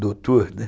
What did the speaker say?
Doutor, né?